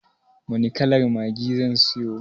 Wani kalar maggi zan siyo?